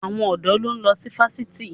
Àwọn ọ̀dọ́ ló ń lọ sí fásitì.